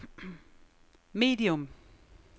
medium